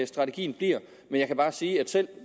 strategien bliver men jeg kan bare sige at selv